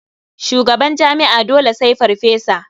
Shugaban jami'a dole sai farfesa.